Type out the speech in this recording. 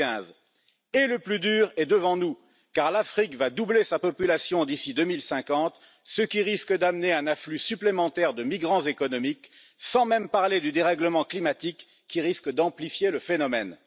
2015. Et le plus dur est devant nous car l'Afrique va doubler sa population d'ici 2050, ce qui risque d'amener un afflux supplémentaire de migrants économiques, sans même parler du dérèglement climatique qui risque d'amplifier le phénomène.